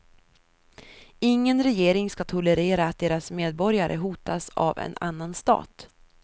Ingen regering ska tolerera att deras medborgare hotas av en annan stat.